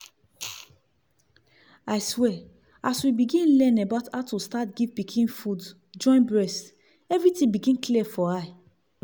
i swear as we begin learn about how to start give pikin food join breast everything begin clear for eye